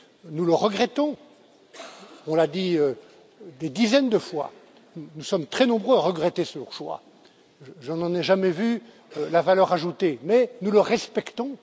Nous le regrettons, on l'a dit des dizaines de fois, nous sommes très nombreux à regretter ce choix je n'en ai jamais vu la valeur ajoutée mais nous le respectons.